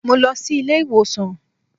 Mo lọ sí ilé ìwòsàn